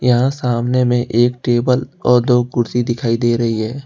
यहां सामने में एक टेबल और दो कुर्सी दिखाई दे रही है।